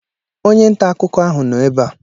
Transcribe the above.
Onye nta akụkọ ahụ nọ ebe a.